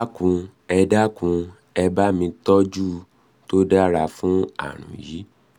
ẹ dákun ẹ dákun ẹ dábàá ìtọ́jú tó dára fún ààrùn yìí